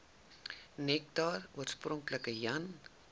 nektar oorspronklik jan